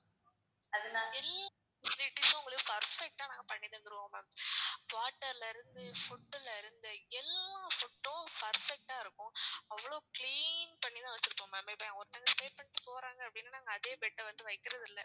உங்களுக்கு perfect ஆ நாங்க பண்ணி தந்துருவோம் ma'am water ல இருந்து food ல இருந்து எல்லா food உம் perfect ஆ இருக்கும். அவ்ளோ clean பண்ணிதான் வச்சிருப்போம் ma'am எப்பயுமே ஒருத்தங்க stay பண்ணிட்டு போறாங்க அப்படின்னா நாங்க அதே bed அ வந்து வைக்கிறது இல்ல.